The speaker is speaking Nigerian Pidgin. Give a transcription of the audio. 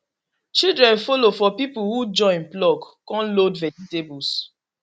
children follow for people who join pluck con load vegetables